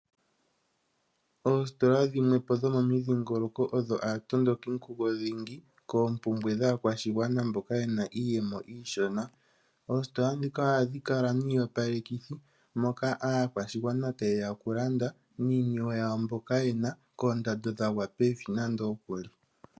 Oositola dhimwe po dho momidhingoloko odho aatondokinkugo dhingi koompumbwe dhaakwashigwana mboka ye na iiyemo iishona. Oositola ndhika ohadhi kala niiyopalekithi moka aakwashigaana taye ya okulanda niiniwe yawo mboka yena koondando dhagwa pevi nando okuli.